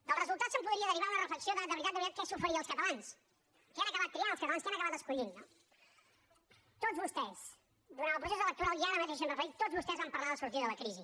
del resultat se’n podria derivar una reflexió de de veritat de veritat què s’oferia als catalans què han acabat triant els catalans què han acabat escollint no tots vostès durant el procés electoral i ara mateix s’hi han referit tots vostès van parlar de sortir de la crisi